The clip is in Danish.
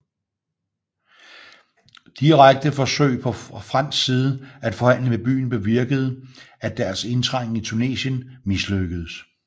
Direkte forsøg på fra fransk side at forhandle med beyen bevirkede at deres indtrængen i Tunesien mislykkedes